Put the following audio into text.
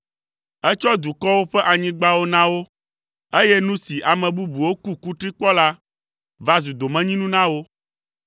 Etsɔ dukɔwo ƒe anyigbawo na wo, eye nu si ame bubuwo ku kutri kpɔ la va zu domenyinu na wo.